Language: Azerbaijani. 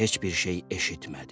Heç bir şey eşitmədi.